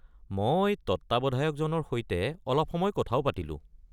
মই তত্ত্বাৱধায়কজনৰ সৈতে অলপ সময় কথাও পাতিলোঁ।